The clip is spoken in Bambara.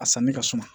A sanni ka suma